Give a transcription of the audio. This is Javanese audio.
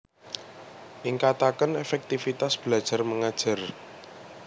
Ningkataken efektifitas belajar mengajar